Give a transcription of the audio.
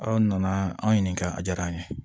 Aw nana an ɲininka a diyara an ye